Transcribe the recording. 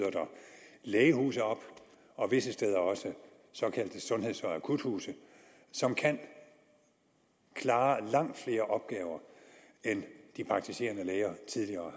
lægehuse op og visse steder også såkaldte sundheds og akuthuse som kan klare langt flere opgaver end de praktiserende læger tidligere